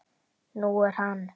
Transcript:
Nú er hann